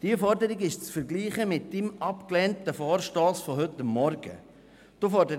Diese Forderung ist mit Ihrem abgelehnten Vorstoss von heute Morgen zu vergleichen.